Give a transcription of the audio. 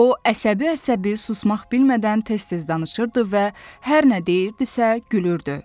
O əsəbi-əsəbi, susmaq bilmədən tez-tez danışırdı və hər nə deyirdisə, gülürdü.